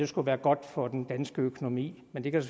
skulle være godt for den danske økonomi men det kan